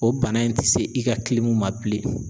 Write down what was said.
O bana in ti se i ka ma bilen.